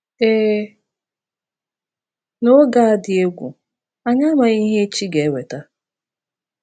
Ee, n’oge a dị egwu, anyị amaghị ihe echi ga-eweta.